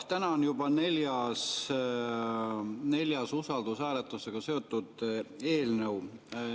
Täna on see juba neljas usaldushääletusega seotud eelnõu.